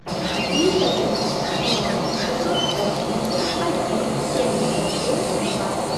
триста тридцать ноль шестьсот восемьдесят один семьдесят семь два